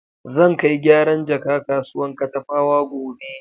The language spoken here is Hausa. Zan kai gyaran jaka kasuwan Katafawa gobe.